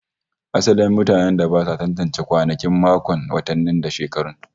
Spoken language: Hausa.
Asalin mutanen da ba su tantance kwanaki, makonni, watanni da shekaru